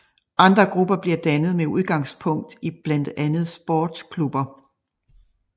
Andre grupper blev dannet med udgangspunkt i blandt andet sportsklubber